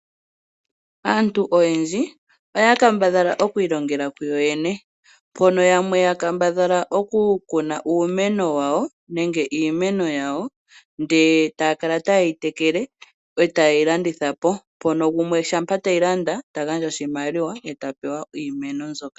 Aantu oyendji oya kambadhala oku ilongela kuyoyene mbono yamwe ya kambadhala oku kuna uumeno wawo nenge iimeno yawo ,ndele taya kala ta yeyi tekele eta yeyi landithapo mpono gumwe shampa teyilanda tagandja oshimaliwa ye tapewa iimeno mbyoka.